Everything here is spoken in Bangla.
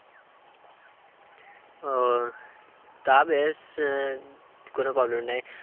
ও তা বেশ আহ কোনো problem নেই।